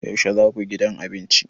Yaushe za ku gidan abinci?